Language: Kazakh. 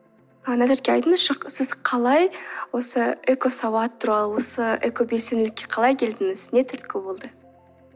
а назерке айтыңызшы сіз қалай осы экосауат туралы осы экобелсенділікке қалай келдіңіз не түрткі болды